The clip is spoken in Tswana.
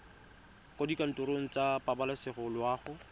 kwa dikantorong tsa pabalesego loago